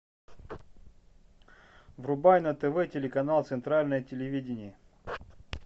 врубай на тв телеканал центральное телевидение